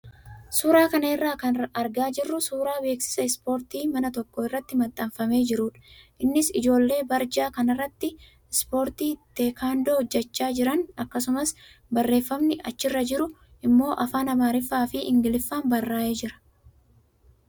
Suuraa kana irraa kan argaa jirru suuraa beeksisa ispoortii mana tokko irratti maxxanfamee jirudha. Innis ijoollee barjaa kanarratti ispoortii teekaandoo hojjachaa jiran akkasumas barreeffamni achirra jiru immoo afaan amaariffaa fi ingiliffaan barraayee jira.